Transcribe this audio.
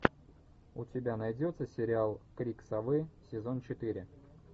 у тебя найдется сериал крик совы сезон четыре